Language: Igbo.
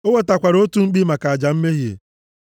O wetakwara otu mkpi maka aja mmehie,